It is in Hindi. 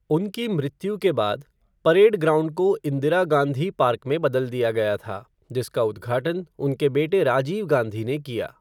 उनकी मृत्यु के बाद, परेड ग्राउंड को इंदिरा गांधी पार्क में बदल दिया गया था, जिसका उद्घाटन उनके बेटे राजीव गांधी ने किया।